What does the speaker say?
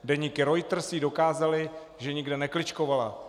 Deníky Reuters jí dokázaly, že nikde nekličkovala.